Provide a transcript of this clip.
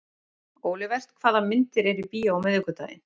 Olivert, hvaða myndir eru í bíó á miðvikudaginn?